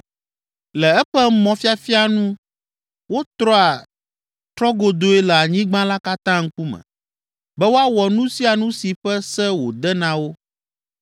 Le eƒe mɔfiafia nu wotrɔa trɔgodoe le anyigba la katã ŋkume, be woawɔ nu sia nu si ƒe se wòde na wo.